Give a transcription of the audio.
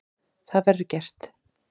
Það verður gert.